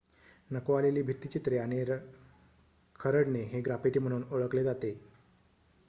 नको आलेली भित्तिचित्रे आणि खरडणे हे ग्राफिटी म्हणून ओळखले जाते